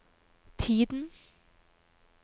tiden